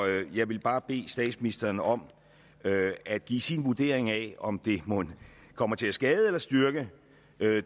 jeg vil bare bede statsministeren om at give sin vurdering af om det mon kommer til at skade eller styrke